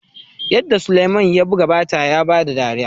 yarda sulaiman ya buga bata ya bada dariya